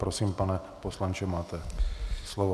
Prosím, pane poslanče, máte slovo.